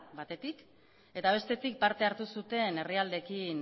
batetik eta bestetik parte hartu zuten herrialdeekin